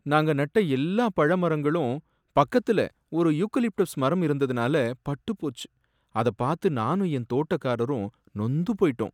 நாங்க நட்ட எல்லா பழ மரங்களும் பக்கத்துல ஒரு யூகலிப்டஸ் மரம் இருந்ததுனால பட்டுப்போச்சு, அத பாத்து நானும் என் தோட்டக்காரரும் நொந்து போயிட்டோம்.